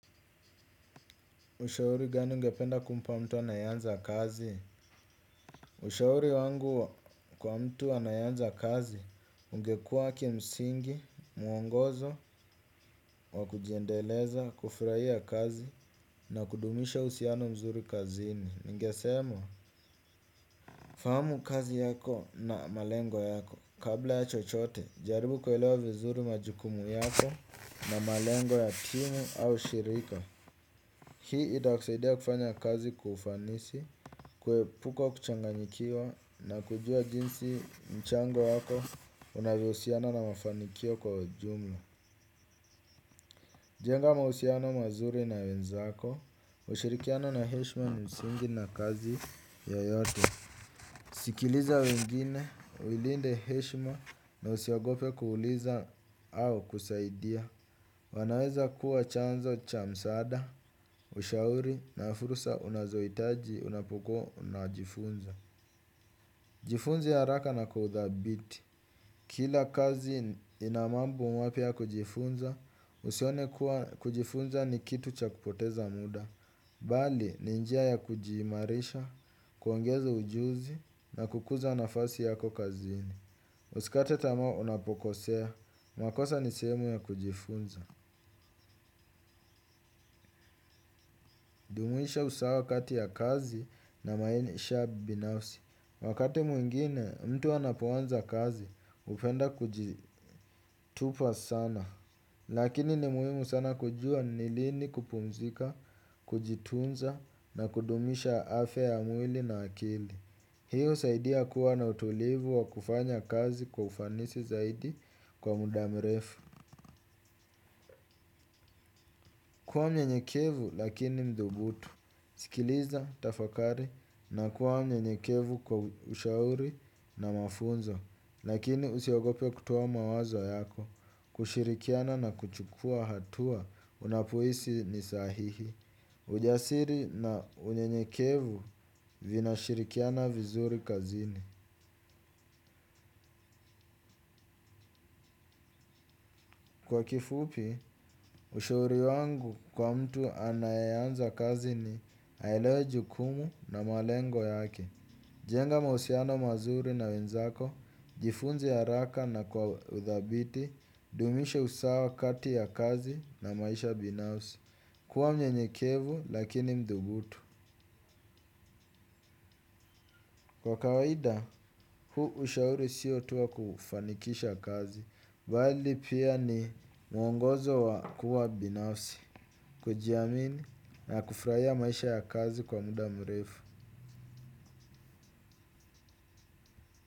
Ushauri gani ungependa kumpa mtu anayeanza kazi? Ushauri wangu kwa mtu anayeanza kazi, ungekuwa kimsingi, muongozo, wa kujendeleza, kufurahia kazi, na kudumisha uhusiano mzuri kazini. Nigesema. Fahamu kazi yako na malengo yako. Kabla ya chochote, jaribu kuelewa vizuri majukumu yako na malengo ya timu au shirika. Hii itakusaidia kufanya kazi kwa ufanisi, kuepuka kuchanganyikiwa na kujuwa jinsi mchango wako unavyo husiana na mafanikio kwa jumla. Jenga mahusiano mazuri na wenzako, kushirikiana na heshma, msingi na kazi yoyote. Sikiliza wengine, uilinde heshima na usiogope kuuliza au kusaidia. Wanaweza kuwa chanzo cha msaada, ushauri na fursa unazoitaji unapokuwa unajifunza. Jifunze haraka na kuidhabiti. Kila kazi inamambo mwapya ya kujifunza, usione kuwa kujifunza ni kitu cha kupoteza muda. Bali, ni njia ya kujimarisha, kuongeza ujuzi na kuikuza nafasi yako kazini. Usikate tamaa unapokosea, makosa ni sehemu ya kujifunza. Mwisho usawa kati ya kazi na maisha binafsi. Wakati mwingine mtu anapoanza kazi, hupenda kujitupa sana. Lakini ni muhimu sana kujuwa ni lini kupumzika, kujitunza na kudumisha afya ya mwili na akili. Hiyo husaidia kuwa na utulivu wa kufanya kazi kwa ufanisi zaidi kwa muda mrefu. Kuwa mnyenyekevu lakini mthubutu. Sikiliza, tafakari na kuwa mnyenyekevu kwa ushauri na mafunzo, lakini usiogope kutoa mawazo yako, kushirikiana na kuchukuwa hatua unapohisi ni sahihi. Ujasiri na unyenyekevu una shirikiana vizuri kazini. Kwa kifupi, ushauri wangu kwa mtu anayeanza kazi ni aelewe jukumu na malengo yake. Jenga mahusiano mazuri na wenzako, jifunze haraka na kwa udhabiti, dumisha usawa kati ya kazi na maisha binafsi, kuwa mnyenyekevu lakini mthubutu. Kwa kawaida, huu ushauri siotu wa kufanikisha kazi, bali pia ni mwongozo wa kuwa binafsi, kujiamini na kufurahia maisha ya kazi kwa muda mrefu.